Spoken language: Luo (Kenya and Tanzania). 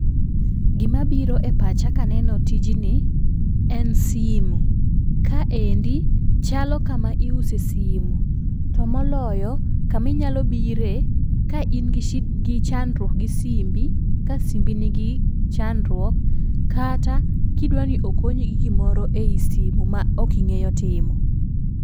Gi ma biro e pacha ka aneno tijni en simo. Ka endi chalo kama iuse simo to moloyo ka ma inyalo biro ka in gi shida chandruok gi simbi, ka simbi ni gi chandruok kata ki idwa ni okonyi gi gi moro e simo ma ok ing'eyo timo.